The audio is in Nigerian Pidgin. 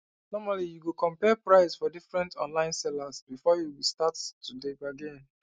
normally you go compare price for different online sellers before you start to dey bargain